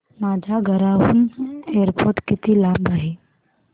माझ्या घराहून एअरपोर्ट किती लांब आहे